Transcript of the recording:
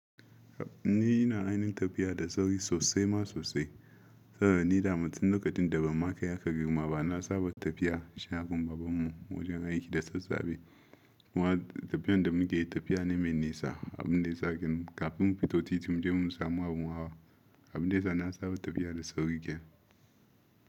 Ina yin tafiya da sauri sosai ma sosaidaman ni tin ban kai haka girma ba na saba tafiya. Shina kuma babanmu wajen aiki da sassafe. Wannan tafiyan da muke yi tafiya ne mai nesa. Abin nesa kin kafin mu fito titi muje mu samu abin hawa. Abin nesa na saba tafiya da sauri gya.